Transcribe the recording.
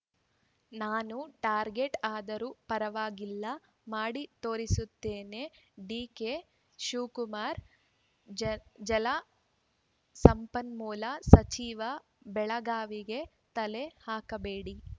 ನಾನು ಟಾರ್ಗೆಟ್‌ ಆದರೂ ಪರವಾಗಿಲ್ಲ ಮಾಡಿ ತೋರಿಸ್ತೇನೆ ಡಿಕೆಶಿವಕುಮಾರ್‌ ಜಲಸಂಪನ್ಮೂಲ ಸಚಿವ ಬೆಳಗಾವಿಗೆ ತಲೆ ಹಾಕಬೇಡಿ